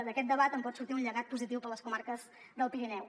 d’aquest debat en pot sortir un llegat positiu per a les comarques del pirineu